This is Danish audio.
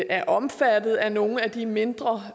er omfattet af nogle af de mindre